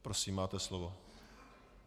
Prosím, máte slovo.